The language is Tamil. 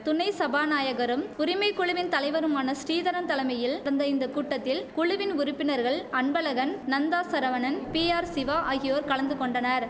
துணை சபாநாயகரும் உரிமை குழுவின் தலைவருமான ஸ்ரீதரன் தலைமையில் நடந்த இந்த கூட்டத்தில் குழுவின் உறுப்பினர்கள் அன்பழகன் நந்தா சரவணன் பிஆர் சிவா ஆகியோர் கலந்து கொண்டனர்